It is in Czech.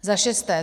Za šesté.